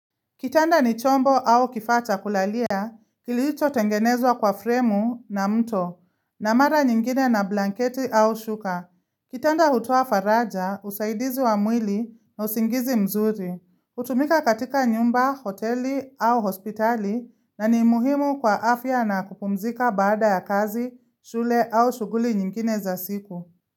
Kitanda ni chombo au kifaa cha kulalia, kilicho tengenezwa kwa fremu na mto, na mara nyingine na blanketi au shuka. Kitanda hutoa faraja, usaidizi wa mwili na usingizi mzuri. Hutumika katika nyumba, hoteli au hospitali na ni muhimu kwa afya na kupumzika baada ya kazi, shule au shughuli nyingine za siku.